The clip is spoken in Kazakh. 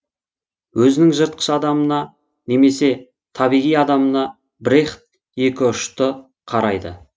өзінің жыртқыш адамына немесе табиғи адамына брехт екіұшты қарайды